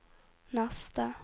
neste